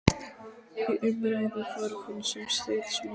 Í umræðu var hún sem stríðsmaður.